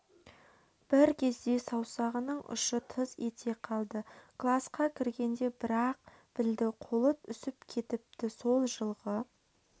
бір кезде саусағының ұшы тыз ете қалды класқа кіргенде бір-ақ білді қолы үсіп кетіпті сол жылғы